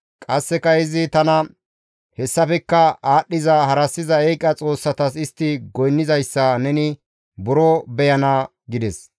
Qasseka izi tana, «Hessafekka aadhdhiza harassiza eeqa xoossatas istti goynnizayssa neni buro beyana» gides.